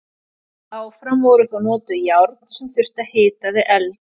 Áfram voru þó notuð járn sem þurfti að hita við eld.